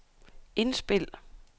indspil